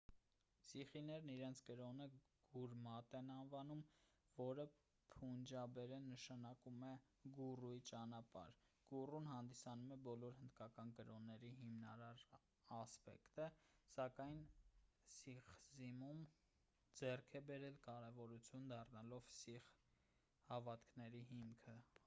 սիխիներն իրենց կրոնը գուրմատ են անվանում որը փունջաբերեն նշանակում է գուրուի ճանապարհ գուրուն հանդիսանում է բոլոր հնդկական կրոննների հիմնարար ասպեկտը սակայն սիխիզմում ձեռք է բերել կարևորություն դառնալով սիխ հավատքների հիմքը